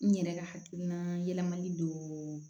N yɛrɛ ka hakiina yɛlɛmali